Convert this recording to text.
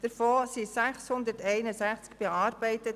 Davon wurden 661 bearbeitet.